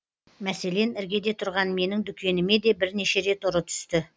мәселен іргеде тұрған менің дүкеніме де бірнеше рет ұры түсті